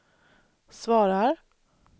svarar